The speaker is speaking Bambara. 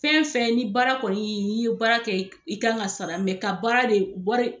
Fɛn fɛn ni baara kɔni i ye baara kɛ i kan ka sara ka baara de wari